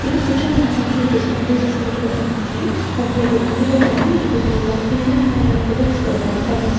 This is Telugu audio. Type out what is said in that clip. ఇద్దరు కూర్చొని అలా సమ్మర్ వెకేషన్ ఎంజాయ్ చేస్తున్నట్టు కూడా కనపడుతుంది మధ్యలో ఒక కొండ కూడా ఉంది మనకి ఇప్పుడు వాళ్ళు తినడానికి కానీ ఏమైనా ఫోటో తీసుకోవడానికి కానీ టమయమ్స్.